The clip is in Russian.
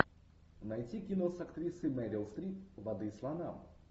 найти кино с актрисой мерил стрип воды слонам